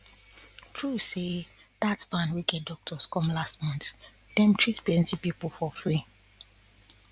true say dat van wey get doctors come last month dem treat plenty people free